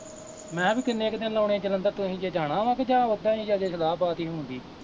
ਮੈਂ ਕਿਹਾ ਵੀ ਕਿੰਨੇ ਕੁ ਦਿਨ ਲਾਉਣੇ ਜਲੰਧਰ, ਤੁਸੀਂ ਜੇ ਜਾਣਾ ਵਾਂ ਜਾਂ ਕਿ ਓਦਾ ਈ ਸਲਾਹ ਬਾਤ ਈ ਹੋਣ ਡਈ